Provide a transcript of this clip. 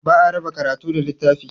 Ba a raba karatu da littafi.